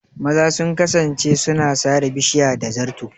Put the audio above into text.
Maza sun kasance suna sare bishiya da zato.